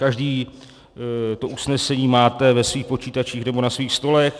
Všichni to usnesení máte ve svých počítačích nebo na svých stolech.